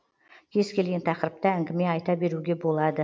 кез келген тақырыпта әңгіме айта беруге болады